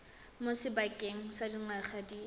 mo sebakeng sa dingwaga di